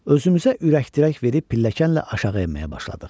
Özümüzə ürəkdərək verib pilləkənlə aşağı enməyə başladıq.